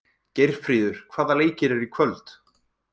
Geirfríður, hvaða leikir eru í kvöld?